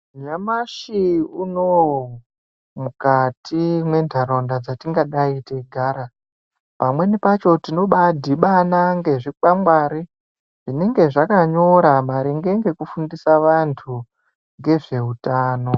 Nyamushi unou mukati mwenharaunda dzatingadayi teigara pamweni pacho tinobaadhibana nezvikwangwari zvinenge zvakanyora maringe ngezvekufundisa vantu ngezveutano.